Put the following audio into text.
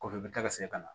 Kɔfɛ i bɛ taa ka segin ka na